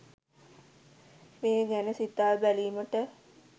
මේ ගැන සිතා බැලීමට